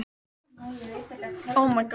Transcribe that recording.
Hlustið: þetta er sérlega áhugavert tilboð